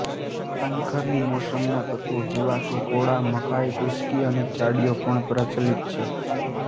પાનખરની મોસમના તત્વો જેવા કે કોળા મકાઈ કુશ્કી અને ચાડીયો પણ પ્રચલિત છે